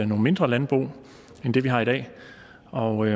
nogle mindre landbrug end dem vi har i dag og